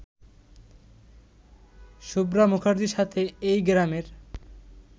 শুভ্রা মুখার্জির সাথে এই গ্রামের